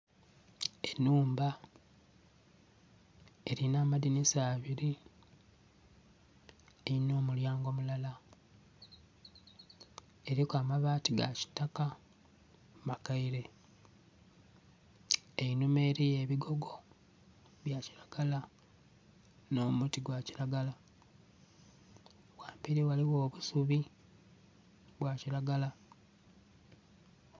Enhumba erina amadhinisa abairi erina omulyango mulala eriku amabati ga kitaka makeire einhuma eriyo ebigogo bya kilagala nho muti gwa kilagala ghamberi ghaligho obusubi obwa kilagala.